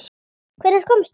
Hvenær komstu?